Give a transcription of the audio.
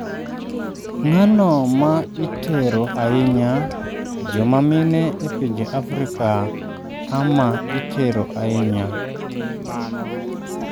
ng'ano ma itero ahinya, joma mine e pinje Afrika ama itero ahinya.